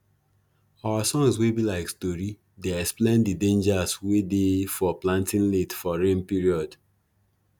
our songs wey be like stori dey explain de dangers wey dey for planting late for rain period